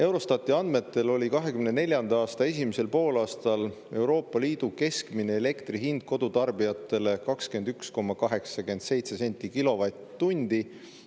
Eurostati andmetel oli 2024. aasta esimesel poolaastal Euroopa Liidu keskmine elektri hind kodutarbijatel 21,87 senti kilovatt-tunni eest.